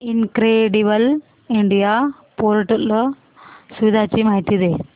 incredible India portal सुविधांची माहिती दे